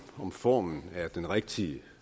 om formen er den rigtige